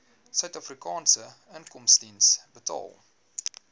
suidafrikaanse inkomstediens betaal